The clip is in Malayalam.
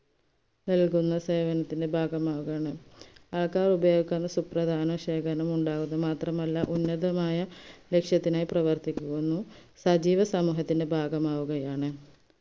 നൽകുന്ന സേവനത്തിന്റെ ഭാഗമാവുകയാണ് സുപ്രദാന ശേഖരണം ഉണ്ടാവുന്നു മാത്രമല്ല ഉന്നതമായ ലക്ഷത്തിനായി പ്രവർത്തിക്കുന്നു സജീവസമൂഹത്തിന്റെ ബാഗമാവുകയാണ്